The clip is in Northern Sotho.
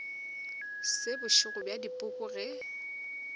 se bošego bja dipoko ge